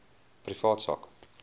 privaat sak